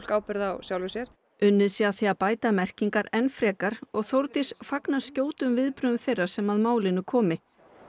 ábyrgð á sjálfu sér unnið sé að því að bæta merkingar enn frekar og Þórdís fagnar skjótum viðbrögðum þeirra sem að málinu komi